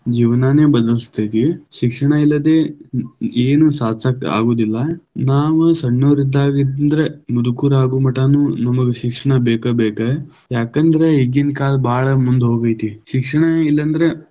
ಜೀವನಾನೆ ಬದಲಿಸತೈತಿ, ಶಿಕ್ಷಣ ಇಲ್ಲದೆ ಏನು ಸಾಧಿಸಾಕ ಆಗುವುದಿಲ್ಲಾ, ನಾವ್ ಸಣ್ಣೋರ್ ಇದ್ದಾಗ ಇಂದ್ರ ಮುದುಕರಾಗು ಮಟಾನು ನಮಗ ಶಿಕ್ಷಣ ಬೇಕ ಬೇಕ, ಯಾಕಂದ್ರ ಈಗಿನ ಕಾಲ ಭಾಳ ಮುಂದಹೋಗೈತಿ, ಶಿಕ್ಷಣ ಇಲ್ಲಂದ್ರ.